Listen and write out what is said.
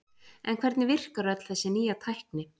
En hvernig virkar öll þessi nýja tækni?